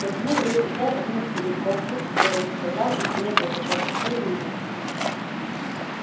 протянул руку взял один из пузырьков раскупорил содрал жестяной колпачок легко и умело